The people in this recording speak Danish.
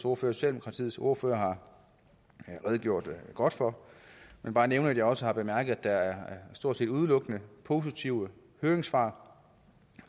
og socialdemokratiets ordfører har redegjort godt for men bare nævne at jeg også har bemærket at der stort set udelukkende er positive høringssvar